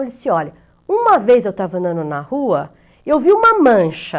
Ele disse, olha, uma vez eu estava andando na rua e eu vi uma mancha.